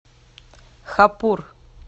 хапур